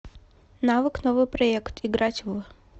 навык новыйпроект играть в